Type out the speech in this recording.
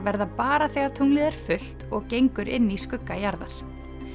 verða bara þegar tunglið er fullt og gengur inn í skugga jarðar